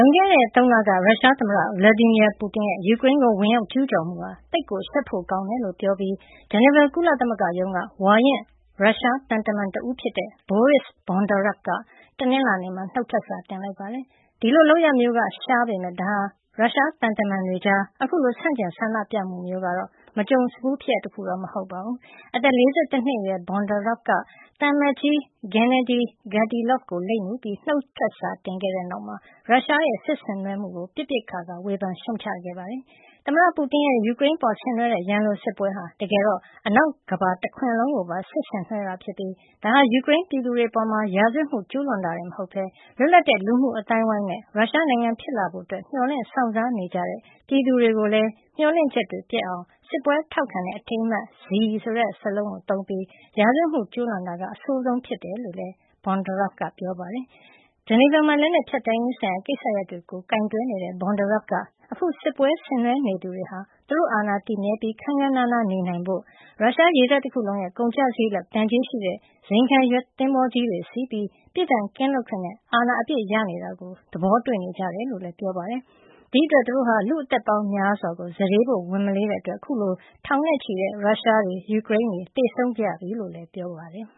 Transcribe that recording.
ွန်ခဲ့တဲ့ ၃ လက ရုရှားသမ္မတ Vladimir Putin ရဲ့ ယူကရိန်းကို ဝင်ရောက်ကျူးကျော်မှုဟာ သိပ်ကိုရှက်ဖို့ ကောင်းတယ်လို့ ပြောပြီး ဂျနီဗာ ကုလသမဂ္ဂရုံးက ဝါရင့်ရုရှားသံတမန်တဦးဖြစ်တဲ့ Boris Bondarev က တနင်္လာနေ့မှာ နှုတ်ထွက်စာ တင်လိုက်ပါတယ်။ ဒီလို လုပ်ရပ်မျိုးရှားပေမယ့် ဒါဟာ ရုရှားသံတမန်တွေကြား အခုလို ဆန့်ကျင်ဆန္ဒပြမှုမျိုး ကတော့ မကြုံစဖူးဖြစ်ရပ်မဟုတ်ပါဘူး။ အသက် ၄၁ နှစ်အရွယ် Bondarev က သံအမတ်ကြီး Gennady Gatilov ကို လိပ်မူပြီး နှုတ်ထွက်စာတင်ခဲ့တဲ့နောက် ရုရှားရဲ့ စစ်ဆင်နွှဲမှုကို ပစ်ပစ်ခါခါ ဝေဖန်ရှုတ်ချ လိုက်တာပါ။ သမ္မတ Putin ရဲ့ ယူကရိန်းအပေါ်ဆင်နွှဲတဲ့ ရန်လိုတဲ့ စစ်ပွဲဟာ တကယ်တော့ အနောက်ကမ္ဘာတခွင်လုံးကိုပါ စစ်ဆင်နွှဲတာ ဖြစ်ပြီး ဒါဟာ ယူကရိန်းပြည်သူတွေအပေါ် ရာဇဝတ်မှု ကျူးလွန်တာ တခုထဲ မဟုတ်ပဲ လွတ်လပ်တဲ့လူမှုအသိုင်းဝိုင်းနဲ့ ရုရှားနိုင်ငံဖြစ်လာဖို့ မျှော်လင့် စောင့်စားနေကြတဲ့ ပြည်သူတွေကိုလည်း မျှော်လင့်ချက်တွေ ပျက်အောင် စစ်ပွဲထောက်ခံတဲ့ အထိန်းမှတ် Z သုံးပြီး ရာဇဝတ်မှု ကျူးလွန်တာက အဆိုးဝါးဆုံးဖြစ်ဖို့ များတယ်လို့လည်း Bondarev က ပြောပါတယ်။ ဂျနီဗာမှာ လက်နက်ဖျက်သိမ်းရေးဆိုင်ရာ ကိစ္စရပ်တွေကို ကိုင်တွယ်နေတဲ့ Bondarev က အခုစစ်ပွဲဆင်နွှဲနေသူတွေဟာ သူတို့အာဏာတည်မြဲပြီး ခန်းခန်းနားနားနေနိုင်ဖို့၊ ရုရှားရေတပ်တခုလုံးရဲ့ ကုန်ကျစားရိတ်လောက် တန်ကျေးရှိတဲ့ ဇိမ်ခံရွက်သင်္ဘောကြီးတွေစီးပြီး၊ ပြစ်ဒဏ်ကင်းလွတ်ခွင့်နဲ့ အာဏာအပြည့်ရနေတာကို သဘောာတွေ့နေကြတယ်လို့လည်း ပြောပါတယ်။ ဒီ့အတွက် သူတို့ဟာ လူ့အသက်ပေါင်းများစွာကို စတေးဖို့ ဝန်မလေးတဲ့အတွက် ခုဆို ထောင်နဲ့ချီတဲ့ ရုရှားတွေနဲ့ ယူကရိန်းတွေ သေဆုံးခဲ့ရပြီလို့လည်း ပြောပါတယ်။